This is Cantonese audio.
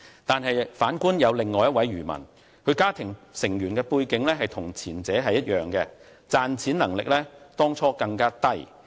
但是，反觀另一名漁民，其家庭成員背景與前者一樣，賺錢能力當初更低。